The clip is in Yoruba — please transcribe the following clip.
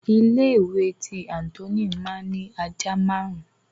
Ilé ìwé tí Anthony ma ni àjà máàrún.